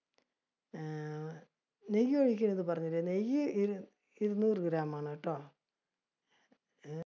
അഹ് നെയ്യ് ഒഴിക്കണത് പറഞ്ഞില്ല, നെയ്യ് ഇരുനൂറ് gram ആണട്ടോ ഹും